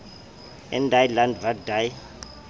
in die land wat die